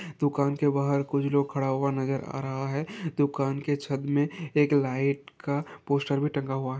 दुकान के बाहर कुछ लोग खड़ा हुआ नजर आ रहा है दुकान के छत में एक लाइट का पोस्टर भी टंगा हुआ--